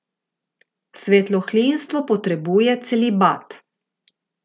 Svetohlinstvo potrebuje celibat!